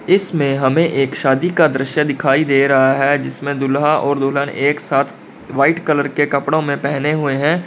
इसमें हमें एक शादी का दृश्य दिखाई दे रहा है जिसमें दूल्हा और दुल्हन एक साथ व्हाइट कलर के कपड़ों में पहने हुए हैं।